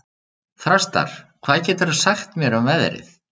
Þrastar, hvað geturðu sagt mér um veðrið?